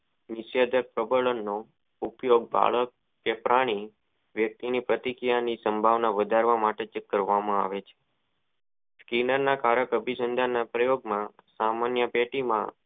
નીસત પરી પ્રબળ નું ઉપયોગ માણસ કે પ્રાણી વ્યકિતી ની પ્રતિક્રિયા ની સંભાવના વધારવા માં જે કરવા માં આવે છે કિન નના કારક અભિસમજન માં પ્રયોગ માં સામાન્ય પેટી માં